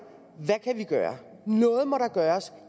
hvad kan vi gøre noget må der gøres